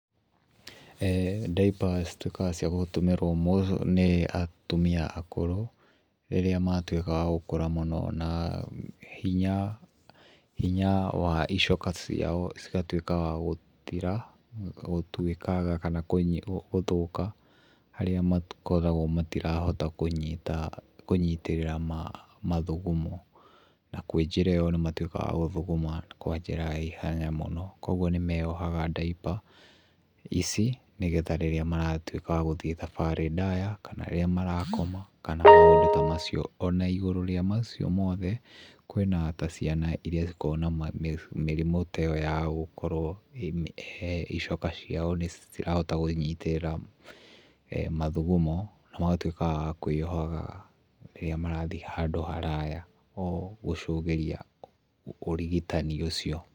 Diaper cituĩkaga cia gũtũmĩrwo nĩ atumia akũrũ rĩrĩa matuĩka wa gũkũra mũno na hinya hinya wa icoka ciao cigatuĩka wa gũthira gũtuĩkanga kana gũthũka harĩa makoragwo matirahota kũnyita kũnyitĩrĩra mathugumo na kwĩ njĩra ĩyo nĩmatuĩkga wa gũthuguma kwa njĩra ya ihenya mũno, kuoguo nĩmeyohaga diaper ici nĩgetha rĩrĩa maratuĩka wa gũthiĩ thabarĩ ndaya kana rĩrĩa marakoma kana maũndũ ta macio. Ona igũrũ rĩa macio mothe, kwĩna ta ciana iria cikoragwo na mĩrimũ ta ĩyo ya gũkorwo ĩkĩhe icoka ciao nĩcirahota kũnyitĩrĩra mathugumo na magatuĩka wa kwĩyoha rĩrĩa marathiĩ handũ haraya o gũcũgĩria ũrigitani ũcio.